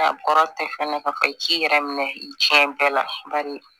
A kɔrɔ tɛ fɛnɛ ka i k'i yɛrɛ minɛ i diɲɛ bɛɛ la bari